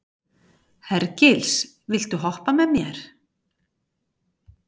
Hergils, viltu hoppa með mér?